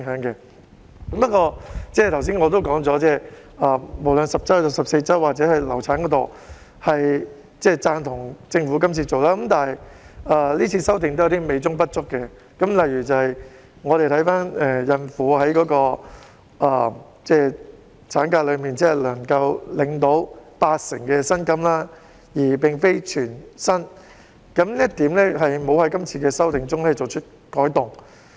不過，我剛才也說過，無論是10周還是14周，抑或流產安排方面，我都贊同政府的工作，但今次修訂仍然有點美中不足，例如孕婦放取產假只能領八成薪金而非全薪的安排，在今次修訂中並沒有作出改動。